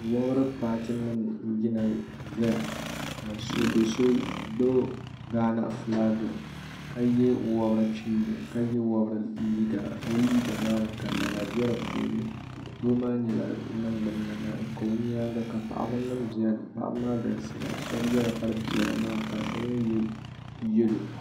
Wobiri paati nima n yina ʒeya ka doso gbibi gaana filaaki ka ye wabiri liiga o liiga maani ka nana be di puuni doo maa nyɛla ningbina lana o nyaanga ka paɣaba nima biɛni paɣabi maa galisiya shɛba yɛla kpari piɛla nima ka shɛba mi ye yelo.